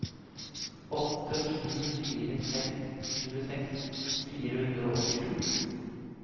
åtte sju fire seks tjueseks fire hundre og åttisju